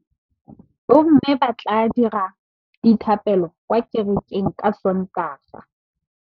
Bommê ba tla dira dithapêlô kwa kerekeng ka Sontaga.